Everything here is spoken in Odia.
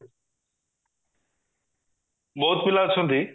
ବହୁତ ପିଲା ଅଛନ୍ତି